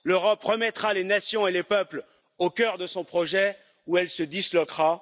L'Europe remettra les nations et les peuples au cœur de son projet ou elle se disloquera.